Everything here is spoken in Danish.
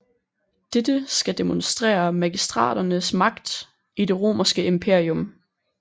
Dette skal demonstrere magistraternes magt i det Romerske Imperium